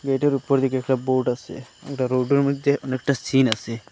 গেটের উপর দিকে একটা বোর্ড আসে এটা রোডের মধ্যে অনেকটা সিন আসে।